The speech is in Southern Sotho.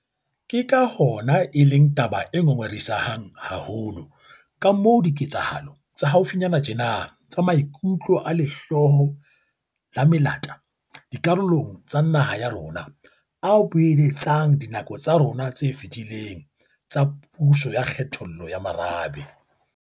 Ke ka hona e leng taba e ngongorehisang haholo kamoo diketsahalo tsa haufinyane tjena tsa maikutlo a lehloyo la melata dikarolong tsa naha ya rona a boeletsang dinako tsa rona tse fetileng tsa puso ya kgethollo ya merabe.